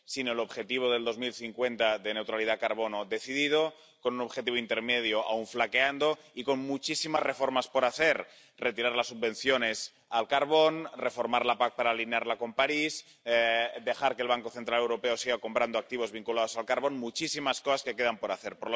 Sin el objetivo del 2050 de neutralidad carbono decidido, con un objetivo intermedio aun flaqueando y con muchísimas reformas por hacer retirar las subvenciones al carbón, reformar la PAC para alinearla con París, dejar que el Banco Central Europeo siga comprando activos vinculadas al carbón ―muchísimas cosas que quedan por hacer―.